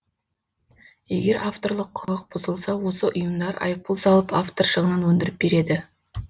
егер авторлық құқық бұзылса осы ұйымдар айыппұл салып автор шығынын өндіріп береді